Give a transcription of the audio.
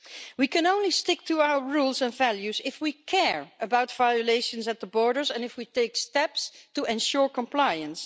We can only stick to our rules and values if we care about violations at the borders and if we take steps to ensure compliance.